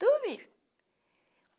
Dormi.